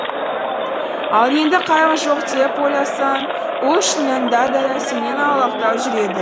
ал енді қайғы жоқ деп ойласаң ол шынында да сенен аулақтау жүреді